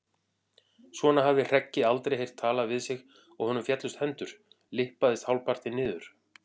Svona hafði Hreggi aldrei heyrt talað við sig og honum féllust hendur, lyppaðist hálfpartinn niður.